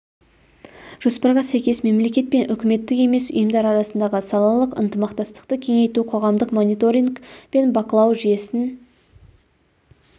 жоспарға сәйкес мемлекет пен үкіметтік емес ұйымдар арасындағы салалық ынтымақтастықты кеңейту қоғамдық мониторинг пен бақылау жүйесін